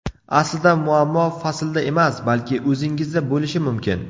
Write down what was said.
Aslida, muammo faslda emas, balki o‘zingizda bo‘lishi mumkin.